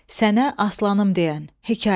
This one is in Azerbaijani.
Sənə aslanım deyən hekayə.